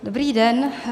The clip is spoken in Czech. Dobrý den.